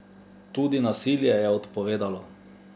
Tudi nasilje je odpovedalo.